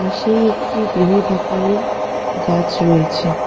সেই একটি বৃহদাকারের গাছ রয়েছে।